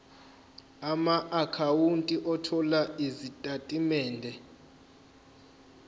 amaakhawunti othola izitatimende